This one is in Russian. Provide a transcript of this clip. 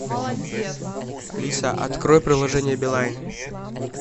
алиса открой приложение билайн